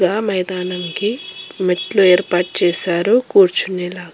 ఆ మైదానం కి మెట్లు ఏర్పాటు చేశారు కూర్చునేలాగా.